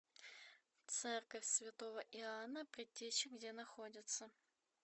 церковь святого иоанна предтечи где находится